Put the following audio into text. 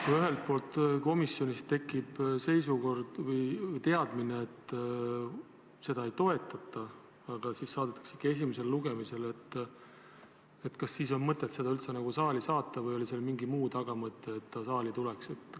Kui komisjonis tekib teadmine, et eelnõu ei toetata, aga saadetakse see ikka esimesele lugemisele, kas siis oli mõtet seda üldse saali saata või oli mingi muu tagamõte, et ta saali tuleks?